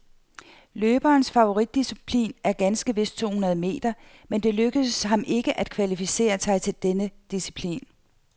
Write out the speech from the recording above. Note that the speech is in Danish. Løberens favoritdisciplin er ganske vist to hundrede meter, men det lykkedes ham ikke at kvalificere sig til denne disciplin.